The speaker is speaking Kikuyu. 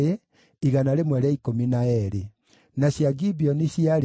na andũ a Lodi, na Hadidi, na Ono maarĩ 721